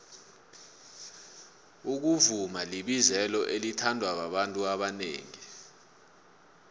ukuvuma libizelo elithandwa babantu abanengi